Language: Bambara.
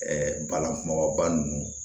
balanku nɔgɔ ba nunnu